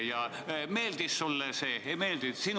Kas see meeldis sulle või ei meeldinud?